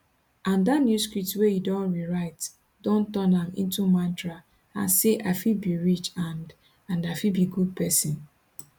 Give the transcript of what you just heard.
and dat new script wey you don rewrite don turn am into mantra and say i fit be rich and and i fit be good pesin